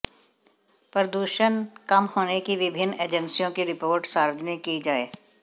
प्रदूषण कम होने की विभिन्न एजेंसियों की रिपोर्ट सार्वजनिक की जाये